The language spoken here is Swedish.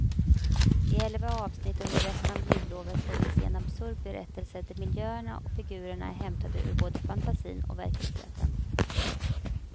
I elva avsnitt under resten av jullovet får vi se en absurd berättelse där miljöerna och figurerna är hämtade ur både fantasin och verkligheten.